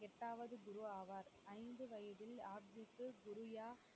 எட்டாவது குரு ஆவார் ஐந்து வயதில் குருயா